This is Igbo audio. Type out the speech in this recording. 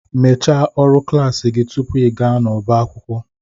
Mechaa ọrụ klas gị tupu ịga n'ọbá akwụkwọ